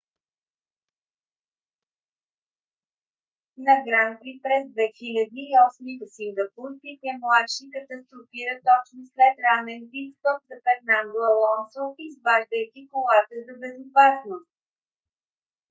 на гран при през 2008 г. в сингапур пике младши катастрофира точно след ранен пит стоп за фернандо алонсо изваждайки колата за безопасност